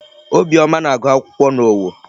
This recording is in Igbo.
Obiọma na-agụ akwụkwọ n'Owo.